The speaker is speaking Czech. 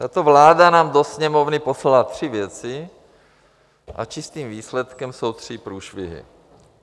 Tato vláda nám do Sněmovny poslala tři věci a čistým výsledkem jsou tři průšvihy.